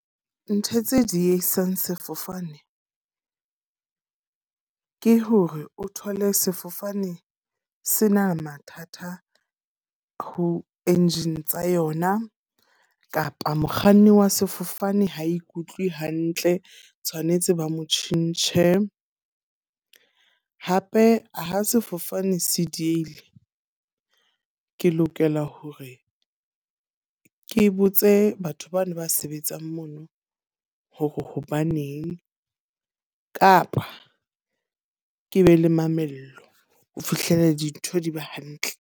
Ntho tse diehisang sefofane, ke hore o thole sefofane se na le mathata a bo engine tsa yona. Kapa mokganni wa sefofane ha ikutlwe hantle, tshwanetse ba mo tjhentjhe. Hape ha sefofane se diehile. Ke lokela hore ke botse batho bana ba sebetsang mono hore hobaneng. Kapa ke be le mamello ho fihlela dintho di ba hantle.